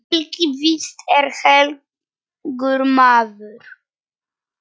Helgi víst er helgur maður.